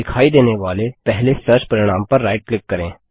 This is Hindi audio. दिखाई देनेवाले पहले सर्च परिणाम पर राइट क्लिक करें